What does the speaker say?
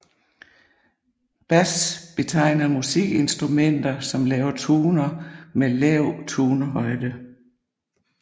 Bas betegner musikinstrumenter som laver toner med lav tonehøjde